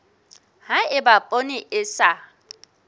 ha eba poone e sa